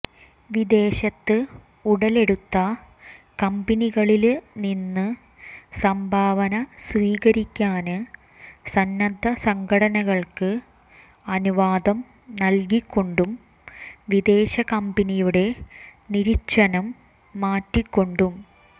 വിദേശത്ത് ഉടലെടുത്ത കമ്പനികളില് നിന്ന് സംഭാവന സ്വീകരിക്കാന് സന്നദ്ധ സംഘടനകള്ക്ക് അനുവാദം നല്കിക്കൊണ്ടും വിദേശ കമ്പനിയുടെ നിര്വചനം മാറ്റിക്കൊണ്ടും